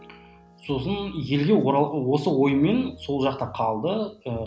сосын елге оралып осы оймен сол жақта қалды ыыы